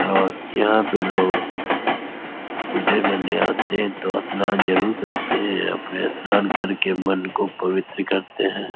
और यहाँ पे लोग पूजा करने आते हैं तो स्नान जरुर करते हैं। अपने स्नान कर के मन को पवित्र करते हैं।